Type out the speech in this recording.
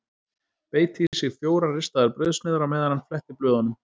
Beit í sig fjórar ristaðar brauðsneiðar á meðan hann fletti blöðunum.